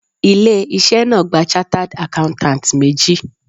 Ilé iṣẹ́ náà gba chartered accountants méjì